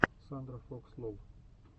сандрафокслол